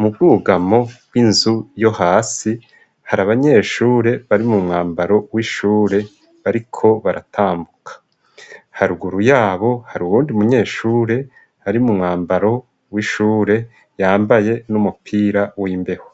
mu bwugamo bw'inzu yo hasi hari abanyeshure bari mu mwambaro w'ishure bariko baratambuka haruguru yabo hari uwundi munyeshure ari mu mwambaro w'ishure yambaye n'umupira w'imbeho.